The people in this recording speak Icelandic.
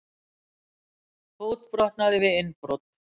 Fótbrotnaði við innbrot